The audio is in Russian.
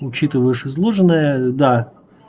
учитывая выше изложенное да